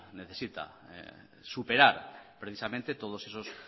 necesita superar precisamente